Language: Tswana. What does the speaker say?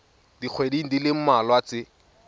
dikgweding di le mmalwa tse